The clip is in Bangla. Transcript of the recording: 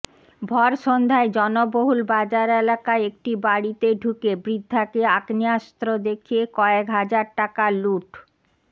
ভর সন্ধ্যায় জনবহুল বাজার এলাকায় একটি বাড়িতে ঢুকে বৃদ্ধাকে আগ্নেয়াস্ত্র দেখিয়ে কয়েক হাজার টাকা লুঠ